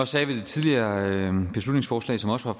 sagde ved det tidligere beslutningsforslag som også var